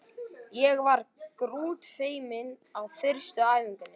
Ég var grútfeimin á fyrstu æfingunni.